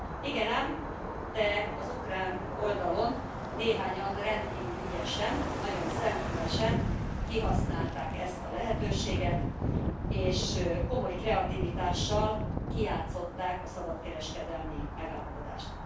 Igen ám, de az ukrán oldalon, néhányan rendkívül ügyesen, nagyon szemfülesen kihasználták ezt a lehetőséget, és komoly kreativitással kijátszották a szabadkereskedelmi megállapodást.